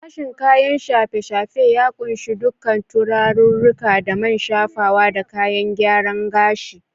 Sashen kayan shafe-shafe ya kunshi duka turarirruka da man shafawa da kayan gyaren gashi.